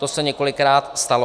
To se několikrát stalo.